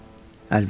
Əlvida.